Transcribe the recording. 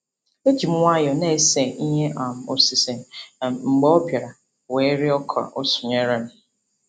Eji m nwayọ na-ese ihe um osise um mgbe ọ bịara wee rịọ ka o sonyere m.